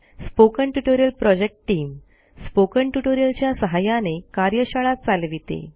spoken tutorial project team spoken tutorial च्या सहाय्याने कार्यशाळा चालविते